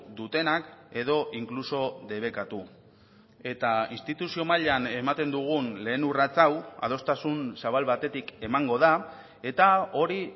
dutenak edo inkluso debekatu eta instituzio mailan ematen dugun lehen urrats hau adostasun zabal batetik emango da eta hori